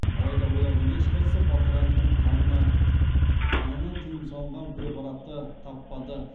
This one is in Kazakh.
алайда олардың ешқайсысы полтораниннің қанынан тыйым салынған препаратты таппады